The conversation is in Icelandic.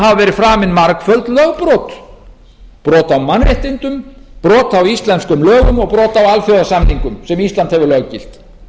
verið framin margföld lögbrot brot á mannréttindum brot á íslenskum lögum og brot á alþjóðasamningum sem ísland hefur löggilt